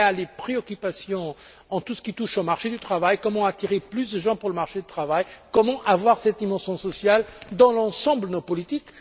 Il se préoccupe de tout ce qui touche au marché du travail comment attirer plus de gens sur le marché du travail, comment avoir cette dimension sociale dans l'ensemble de nos politiques?